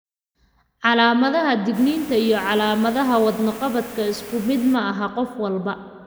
Calaamadaha digniinta iyo calaamadaha wadno-qabadka isku mid maaha qof walba.